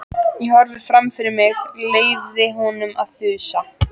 Ég horfði fram fyrir mig, leyfði honum að þusa.